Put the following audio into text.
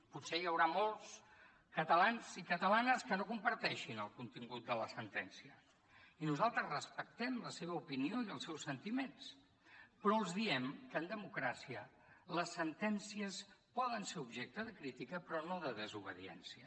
potser hi haurà molts catalans i catalanes que no comparteixin el contingut de la sentència i nosaltres respectem la seva opinió i els seus sentiments però els diem que en democràcia les sentències poden ser objecte de crítica però no de desobediència